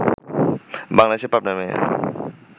বাংলাদেশের পাবনার মেয়ে